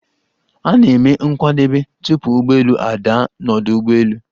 A na-eme nkwadebe, tupu ụgbọelu a daa n'ọdu ụgbọelu.